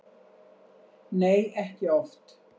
Nei, ekki oft.